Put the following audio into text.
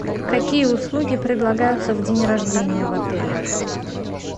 какие услуги предлагаются в день рождения в отеле